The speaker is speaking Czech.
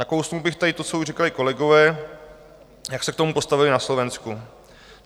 Nakousl bych tady to, co už říkali kolegové, jak se k tomu postavili na Slovensku.